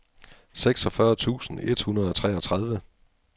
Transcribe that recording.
seksogfyrre tusind et hundrede og treogtredive